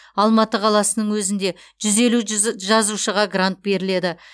алматы қаласының өзінде жүз елу жазушыға грант беріледі